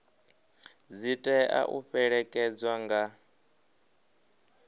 dzi tea u fhelekedzwa nga